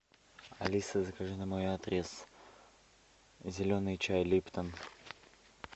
алиса закажи на мой адрес зеленый чай липтон